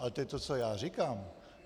Ale to je to, co já říkám.